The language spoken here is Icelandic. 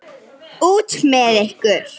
Út með ykkur.